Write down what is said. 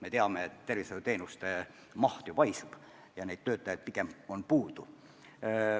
Me teame, et tervishoiuteenuste maht paisub ja neid töötajaid pigem on puudu.